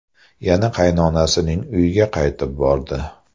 Yana qaynonasining uyiga qaytib bordi.